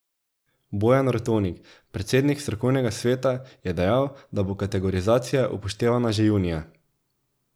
Bojan Rotovnik, predsednik strokovnega sveta, je dejal, da bo kategorizacija upoštevana že junija.